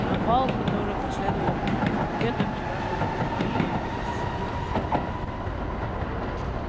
на бал который последовал после банкета вчерашние курсанты явились с девушками